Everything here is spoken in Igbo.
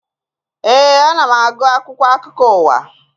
Éè, ana m agụ akwụkwọ akụkọ ụwa